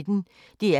DR P1